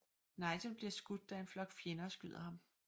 Nigel bliver skudt da en flok fjender skyder ham